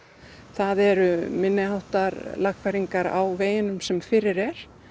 það eru minni háttar lagfæringar á veginum sem fyrir er